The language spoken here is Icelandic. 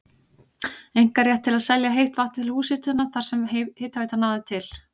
einkarétt til að selja heitt vatn til húshitunar þar sem hitaveitan náði til.